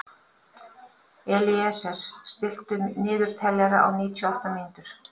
Elíeser, stilltu niðurteljara á níutíu og átta mínútur.